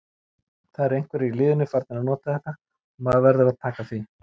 Það eru einhverjir í liðinu farnir að nota þetta og maður verður að taka því.